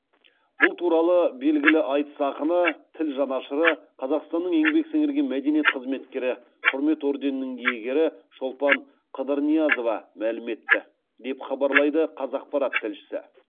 бұл туралы белгілі айтыс ақыны тіл жанашыры қазақстанның еңбек сіңірген мәдениет қызметкері құрмет орденінің иегері шолпан қыдырниязова мәлім етті деп хабарлайды қазақпарат тілшісі